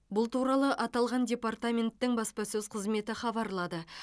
бұл туралы аталған департаменттің баспасөз қызметі хабарлады